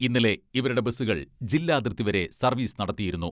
ഇന്നലെ ഇവരുടെ ബസുകൾ ജില്ലാതിർത്തിവരെ സർവീസ് നടത്തിയിരുന്നു.